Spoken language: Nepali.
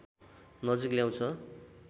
नजिक ल्याउँछ